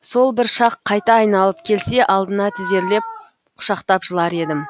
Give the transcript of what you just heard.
сол бір шақ қайта айналып келсе алдына тізерлеп құшақтап жылар едім